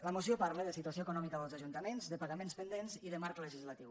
la moció parla de situació econòmica dels ajuntaments de pagaments pendents i de marc legislatiu